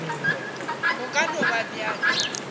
go ka no ba bjalo